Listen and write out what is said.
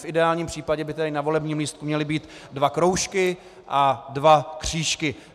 V ideálním případě by tedy na volebním lístku měly být dva kroužky a dva křížky.